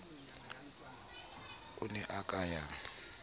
o ne a ka ya